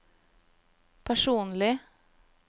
personlig